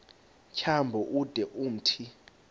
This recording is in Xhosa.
tyambo ude umthi